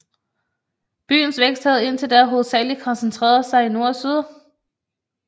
Byens vækst havde indtil da hovedsageligt koncentreret sig i nord og syd